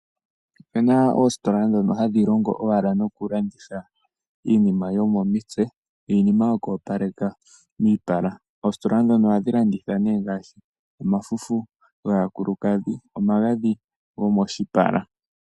Opu na oositola ndhono hadhi landitha iinima yomomitse niinima yoku opaleka miipala. Ohadhi landitha nee ngaashi omafufu gaakulukadhi nomagadhi gomoshipala.